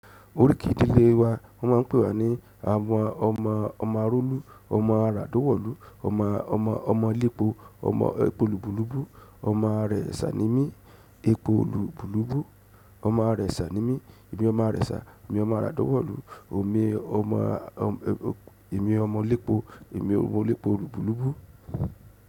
Oríkì ìdílé wa wọ́n ma ń pè wa ní àwọn ọmọ, ọmọ arólú, ọmọ àrádòwọ̀lú, ọmọ, ọmọ, ọmọ lẹ́po, ọmọ epo lùbùlùbù, ọmọ ààrẹ sà ní mí, epo lùbùlùbù, ọmọ ààrẹ sà ní mí, èmi ọmọ ààrẹ sà, èmi ọmọ àrádòwọ̀lú, òmi ọmọ, omi, èmi ọmọ lẹ́pọ̀, èmi ọmọ lẹ́pọ̀ lùbùlùbù.